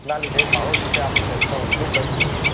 જ ના લીધે ઘણો રીતે આપણે પ્રદૂષણ ઓછું કરી શકીએ